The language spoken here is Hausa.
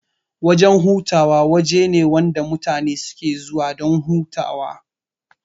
Wajan hutawa wajene wanda mutane suke zuwa dan hutawa